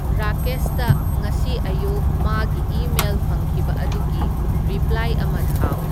ꯔꯥꯀꯦꯁꯇ ꯉꯁꯤ ꯑꯌꯨꯛ ꯃꯥꯒꯤ ꯏꯃꯦꯜ ꯐꯪꯈꯤꯕ ꯑꯗꯨꯒꯤ ꯔꯤꯄ꯭ꯂꯥꯏ ꯑꯃ ꯊꯥꯎ